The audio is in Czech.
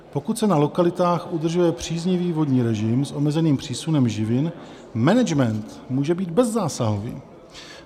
Pokud se na lokalitách udržuje příznivý vodní režim s omezeným přísunem živin, management může být bezzásahový.